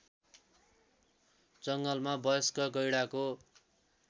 जङ्गलमा वयस्क गैंडाको